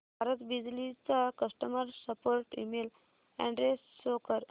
भारत बिजली चा customer support email address show कर